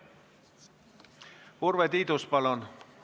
Urve Tiidus, palun!